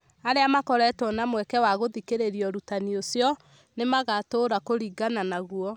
arĩa makoretwo na mweke wa gũthikĩrĩria ũrutani ũcio, nĩ magũtũũra kũringana naguo.